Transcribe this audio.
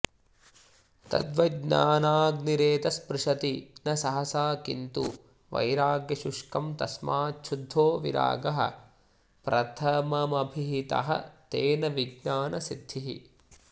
तद्वज्ज्ञानाग्निरेतत्स्पृशति न सहसा किं तु वैराग्यशुष्कं तस्माच्छुद्धो विरागः प्रथममभिहितस्तेन विज्ञानसिद्धिः